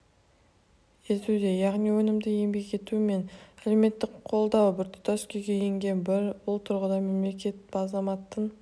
етуде яғни өнімді еңбек ету мен әлеуметтік қолдау біртұтас күйге енген бұл тұрғыда мемлекет азаматтың